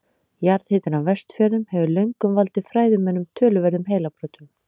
Jarðhitinn á Vestfjörðum hefur löngum valdið fræðimönnum töluverðum heilabrotum.